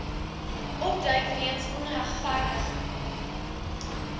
opduik weens onregverdige